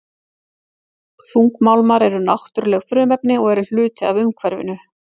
Þungmálmar eru náttúruleg frumefni og eru hluti af umhverfinu.